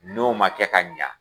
N'o ma kɛ ka ɲa